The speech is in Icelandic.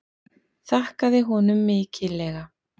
Þakkaði honum mikillega.